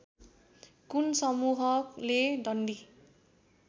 कुन समूहले डन्डी